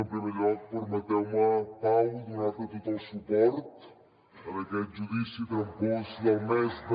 en primer lloc permeteu me pau donar te tot el suport en aquest judici trampós del mes de